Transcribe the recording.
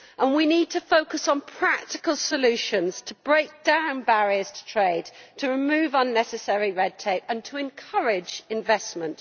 We need to focus on practical solutions to break down barriers to trade, to remove unnecessary red tape and to encourage investment.